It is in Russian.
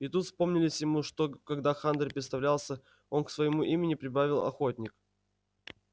и тут вспомнилось ему что когда хантер представлялся он к своему имени прибавил охотник